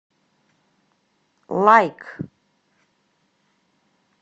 лайк